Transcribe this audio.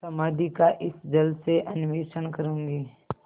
समाधि का इस जल से अन्वेषण करूँगी